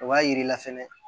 O b'a yir'i la fɛnɛ